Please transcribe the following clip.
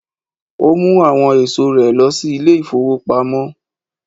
Ó mu àwọn ẹ̀sọ́ rẹ lọ sí ilé-ìfowópamọ́.